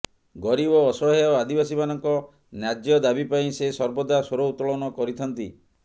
ଗରିବ ଅସହାୟ ଆଦିବାସୀମାନଙ୍କ ନ୍ୟାର୍ଯ୍ୟ ଦାବି ପାଇଁ ସେ ସର୍ବଦା ସ୍ବର ଉତ୍ତୋଳନ କରିଥାନ୍ତି